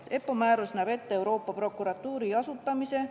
EPPO määrus näeb ette Euroopa Prokuratuuri asutamise.